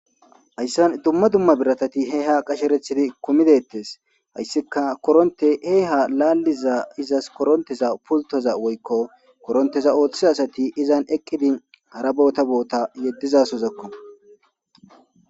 Hayssan dumma dumma biratati hee ha qasherethidi kumidettes hayssika koronte he ha laalliza izas koronteza pultoza woykko koronteza ooththe asati izan eqqidi hara boota boota yeddizasozakko